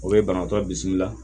O ye banabaatɔ bisimila